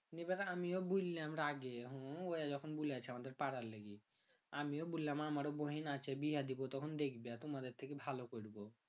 আমিও বুইললাম রাগে হম আমিও বুইললাম আমারো বহীন আছে বিহা দিবো তখন দেখবি তুমাদের থেকে ভালো করবো